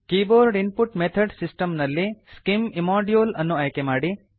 keyboard input method system ನಲ್ಲಿ scim immodule ಅನ್ನು ಆಯ್ಕೆ ಮಾಡಿ